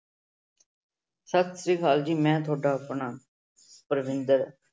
ਸਤਿ ਸ੍ਰੀ ਅਕਾਲ ਜੀ ਮੈਂ ਤੁਹਾਡਾ ਆਪਣਾ ਪਰਵਿੰਦਰ।